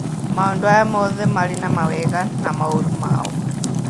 Maũndu aya mothe marĩ na mawega na maũru mao.